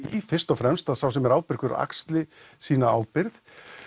fyrst og fremst að sá sem er ábyrgur axli sína ábyrgð